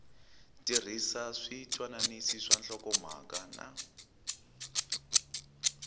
tirhisa switwananisi swa nhlokomhaka na